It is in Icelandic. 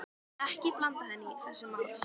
Ekki blanda henni í þessi mál.